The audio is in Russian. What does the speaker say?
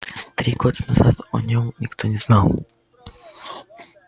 три года назад о нём никто не знал